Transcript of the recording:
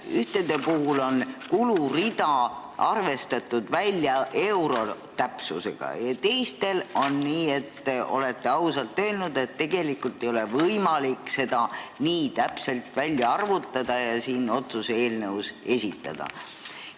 Ühtede puhul on kulurida euro täpsusega välja arvestatud ja teiste puhul olete ausalt öelnud, et tegelikult ei ole võimalik kulu nii täpselt välja arvutada ja otsuse eelnõus esitada.